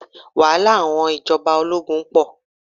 Wàhálà àwọn ìjọba ológun pọ̀.